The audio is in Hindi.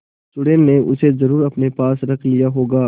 चुड़ैल ने उसे जरुर अपने पास रख लिया होगा